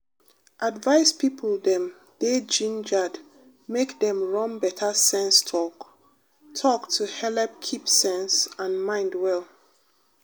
advice people dem dey gingered make dem run better sense talk-talk to helep keep sense and mind well.